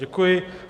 Děkuji.